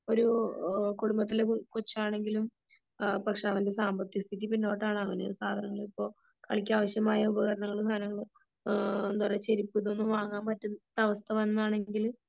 ഒരു കുടുംബത്തിലെ കൊച്ചാണെങ്കിലും പക്ഷേ അവന്റെ സാമ്പത്തിക സ്ഥിതി പിന്നോട്ടാണ് അവന് സാധാരണ ഇപ്പോൾ കളിക്കാൻ ആവശ്യമായ ഉപകരണങ്ങളും സാധനങ്ങളും എന്താ പറയാ ചെരുപ്പ് ഇതൊന്നും വാങ്ങാൻ പറ്റാത്ത അവസ്ഥ വന്നതാണെങ്കില്